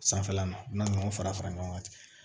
Sanfɛla la n'aw fara fara ɲɔgɔn kan